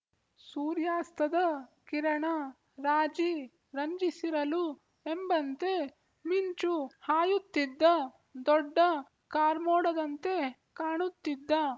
ಸೂರ್ಯಾಸ್ತದ ಕಿರಣ ರಾಜಿ ರಂಜಿಸಿರಲು ಎಂಬಂತೆ ಮಿಂಚು ಹಾಯುತ್ತಿದ್ದ ದೊಡ್ಡ ಕಾರ್ಮೋಡದಂತೆ ಕಾಣುತ್ತಿದ್ದ